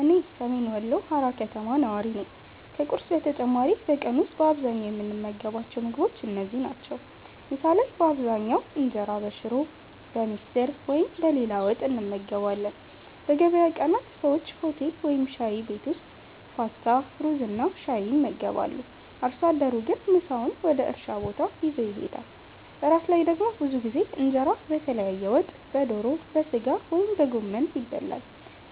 እኔ ሰሜን ወሎ ሃራ ከተማ ነዋሪ ነኝ። ከቁርስ በተጨማሪ በቀን ውስጥ በአብዛኛው የምንመገባቸው ምግቦች እነዚህ ናቸው፦ ምሳ ላይ በአብዛኛው እንጀራ በሽሮ፣ በምስር ወይም በሌላ ወጥ እንመገባለን። በገበያ ቀናት ሰዎች ሆቴል ወይም ሻይ ቤት ውስጥ ፓስታ፣ ሩዝና ሻይ ይመገባሉ። አርሶ አደሩ ግን ምሳውን ወደ እርሻ ቦታ ይዞ ይሄዳል። እራት ላይ ደግሞ ብዙ ጊዜ እንጀራ በተለያየ ወጥ (በዶሮ፣ በሥጋ ወይም በጎመን) ይበላል።